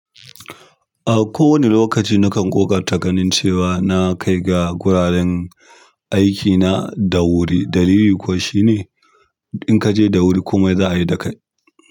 A kowane lokaci na kan ƙoƙarta ganin cewa na kai ga guraren aikina da wuri, dalilin kuwa shine inkaje da wuri komai za'ayi dakai.